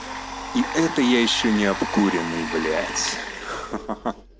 и это я ещё не обкуренный блять ха ха ха